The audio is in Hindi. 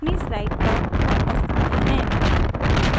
अपनी स्लाइड पर वापस आते हैं